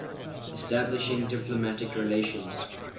establishing diplomatic relations